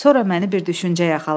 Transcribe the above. Sonra məni bir düşüncə yaxaladı.